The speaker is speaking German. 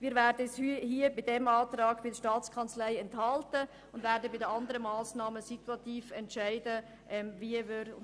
Wir werden uns beim Antrag der Staatskanzlei enthalten und bei den anderen Massnahmen situativ entscheiden, wie wir abstimmen.